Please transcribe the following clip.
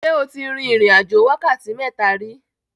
Ṣé o ti rin ìrìn-àjò wákàtí mẹ́ta rí?